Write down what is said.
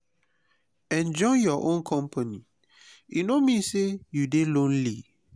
enjoy your own company e no mean say you dey lonely.